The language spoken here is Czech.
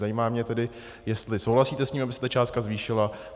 Zajímá mě tedy, jestli souhlasíte s tím, aby se ta částka zvýšila.